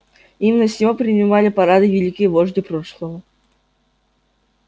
именно с него принимали парады великие вожди прошлого